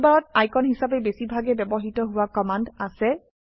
টুলবাৰত আইকন হিসাবে বেছি ভাগে ব্যবহৃত হোৱা কমান্ড আছে